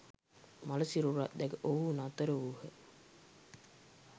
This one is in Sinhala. මළ සිරුරක් දැක ඔවුහු නතර වූහ.